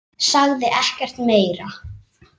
Sagði ekkert meira.